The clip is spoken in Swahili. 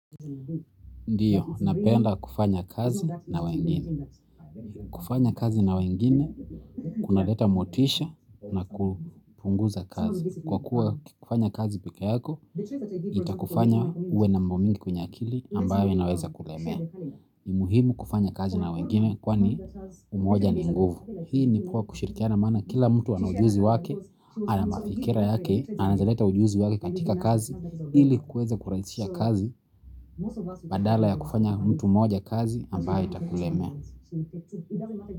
Ndiyo, napeenda kufanya kazi na wengine. Kufanya kazi na wengine, kuna leta motisha na kupunguza kazi. Kwa kuwa kufanya kazi peke yako, itakufanya uwe na mambo mingi kwenye akili ambayo inaweza kulemea. Imuhimu kufanya kazi na wengine kwani umoja ni nguvu. Hii ni pwa kushirikiana mana kila mtu ana ujuzi wake, anamafikira yake, anaezaleta ujuzi wake katika kazi, ili kukweza kuransia kazi. Badala ya kufanya mtu moja kazi ambayo itakulemea.